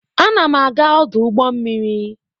Ana m aga ọdụ ụgbọ mmiri.